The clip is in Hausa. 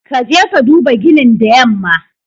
Ka je ka duba ginin the yamma.